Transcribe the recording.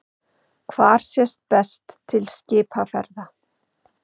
Hvar sést best til skipaferða?